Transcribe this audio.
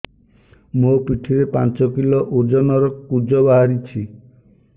ମୋ ପିଠି ରେ ପାଞ୍ଚ କିଲୋ ଓଜନ ର କୁଜ ବାହାରିଛି